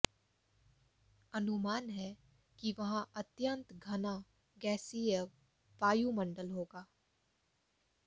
अनुमान है कि वहां अत्यंत घना गैसीय वायुमंडल होगा